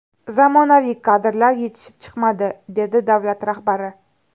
Zamonaviy kadrlar yetishib chiqmadi”, dedi davlat rahbari.